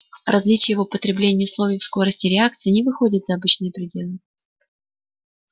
различия в употреблении слов и в скорости реакции не выходят за обычные пределы